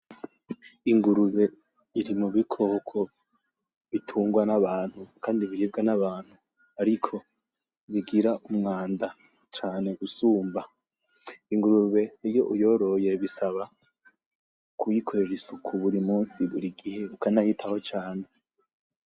Ingurube iri mu bikoko bitungwa n'abantu kandi biribwa n'abantu, ariko bigira umwanda cane gusumba. Ingurube ivyo uyoroye bisaba kuyikorera isuku burimunsi, bur'igihe ukanayitaho cane.